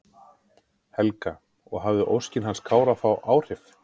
Helga: Og hafði óskin hans Kára þá áhrif?